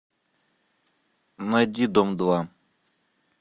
найди дом два